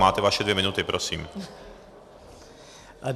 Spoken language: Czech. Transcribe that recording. Máte vaše dvě minuty, prosím.